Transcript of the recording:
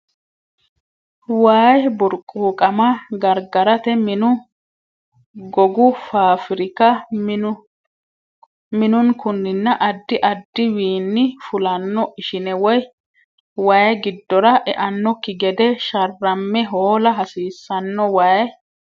Way burquuqama gargarate minu Gogu faafirika minunkunninna addi addi wiinni fulanno ishine way giddora eannokki gede sharramme hoola hasiissanno Way.